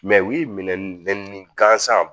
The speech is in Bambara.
Mɛ u y'i minɛ nɛni ni gansan